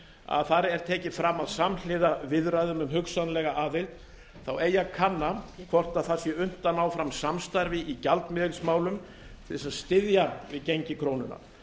að þar er tekið fram að samhliða viðræðum um hugsanlega aðild eigi að kanna hvort það sé unnt að ná fram samstarfi í gjaldmiðilsmálum til að styðja við gengi krónunnar